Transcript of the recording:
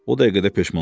O dəqiqədə peşman oldu.